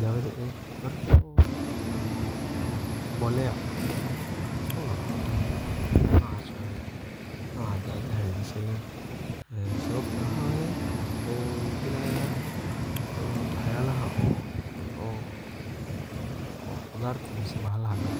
dawada eeh . marka oo eh mboleya noocas waye ,noocaa dawada eh la sheegay sababta neh waxa waye wuxu dilaya waxyawaha oo qudarta mase bahalaha galo.